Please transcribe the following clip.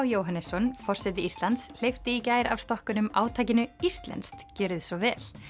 Jóhannesson forseti Íslands hleypti af stokkunum átakinu Íslenskt gjörið svo vel